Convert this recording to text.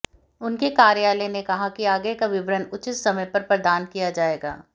उनके कार्यालय ने कहा कि आगे का विवरण उचित समय पर प्रदान किया जाएगा